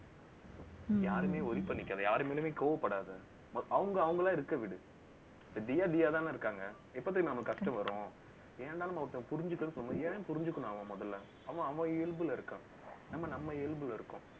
யாருமே, worry பண்ணிக்காத யாரு மேலயுமே கோவப்படாத. அவங்க, அவங்களா இருக்க விடு. தியா தியாவே தானே இருக்காங்க. எப்போ தெரியுமா நமக்கு கஷ்டம் வரும், ஏன்டா நம்மள ஒருத்தங்க புரிஞ்சிக்கணும் சொல்ல, ஏன் புரிஞ்சுக்கணும் அவன் முதல்ல அவன் அவன் இயல்புல இருக்கான். நம்ம நம்ம இயல்புல இருக்கோம்